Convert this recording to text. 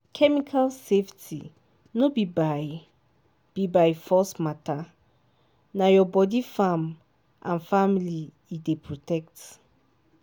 chemical safety no be by be by force matter—na your body farm and family e dey protect.